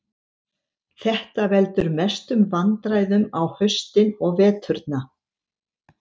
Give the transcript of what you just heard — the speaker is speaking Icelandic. Þetta veldur mestum vandræðum á haustin og veturna.